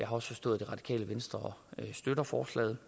har forstået at radikale venstre støtter forslaget